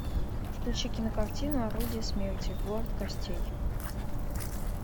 включи кинокартину орудие смерти город костей